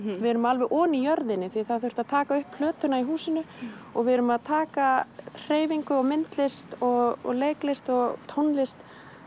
erum alveg ofan í jörðinni því það þurfti að taka upp plötuna í húsinu og við erum að taka hreyfingu og myndlist og leiklist og tónlist